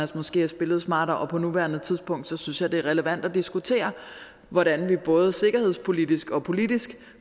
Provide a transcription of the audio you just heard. måske have spillet smartere og på nuværende tidspunkt synes jeg det er relevant at diskutere hvordan vi både sikkerhedspolitisk og politisk